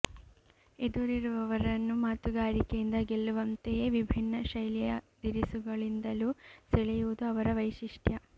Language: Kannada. ಎದುರಿರುವರನ್ನು ಮಾತುಗಾರಿಕೆಯಿಂದ ಗೆಲ್ಲುವಂತೆಯೇ ವಿಭಿನ್ನ ಶೈಲಿಯ ದಿರಿಸುಗಳಿಂದಲೂ ಸೆಳೆಯುವುದು ಅವರ ವೈಶಿಷ್ಟ್ಯ